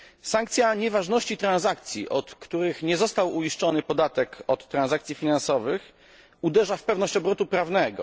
Sankcja nieważności transakcji, od których nie został uiszczony podatek od transakcji finansowych, uderza w pewność obrotu prawnego.